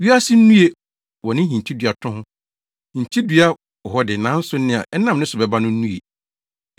Wiase nnue wɔ ne hintiduato ho! Hintiduato wɔ hɔ de, nanso nea ɛnam ne so bɛba no nnue.